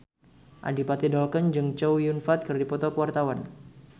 Adipati Dolken jeung Chow Yun Fat keur dipoto ku wartawan